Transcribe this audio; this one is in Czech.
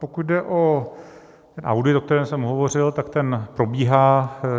Pokud jde o audit, o kterém jsem hovořil, tak ten probíhá.